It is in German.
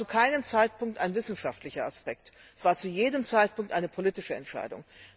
Dabei ging es zu keinem Zeitpunkt um wissenschaftliche Aspekte, das war zu jedem Zeitpunkt eine politische Entscheidung.